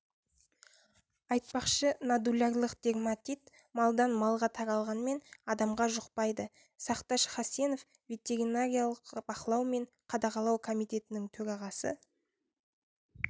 айтпақшы нодулярлық дерматит малдан малға таралғанмен адамға жұқпайды сақташ хасенов ветеринариялық бақылау және қадағалау комитетінің төрағасы